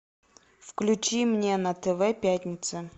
включи мне на тв пятница